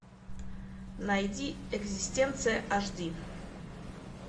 найди экзистенция аш ди